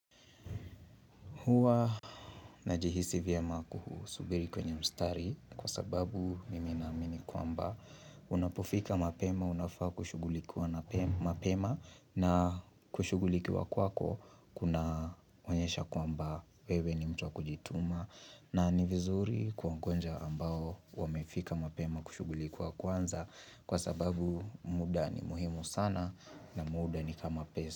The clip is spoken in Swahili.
Huwa najihisi vyema kusubiri kwenye mstari kwa sababu mimi naamini kwamba unapofika mapema unafaa kushughulikuwa mapema na kushughulikuwa kwako kuna onyesha kwamba wewe ni mtu wa kujituma na ni vizuri kuongonja ambao wamefika mapema kushughulikuwa kwanza kwa sababu muda ni muhimu sana na muda ni kama pesa.